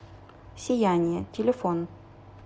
сияние телефон